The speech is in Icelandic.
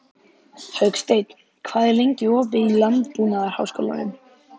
Hauksteinn, hvað er lengi opið í Landbúnaðarháskólanum?